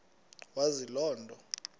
wazi loo nto